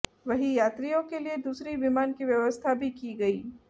वहीं यात्रियों के लिए दूसरी विमान की व्यवस्था भी की गई